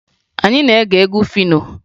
Anyị na-ege egwu Fino